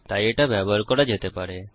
তাই এটা ব্যবহার করা যেতে পারে